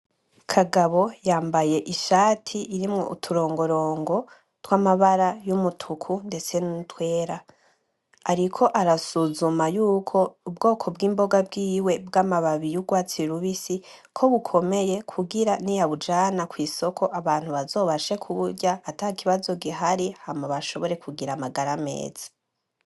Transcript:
Kagabo yambaye ishati irimwo uturongorongo tw'amabara y'umutuku ndetse nutwera, ariko arasuzuma yuko ubwoko bw'imboga bwiwe bw'amababi y'urwatsi rubisi ko bukomeye kugira niyabujana kw'isoko abantu bazobashe kuburya atakibazo gihari hama bashobore kugira amagara meza.